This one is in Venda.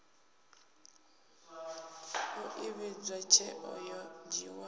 u ivhadzwa tsheo yo dzhiiwaho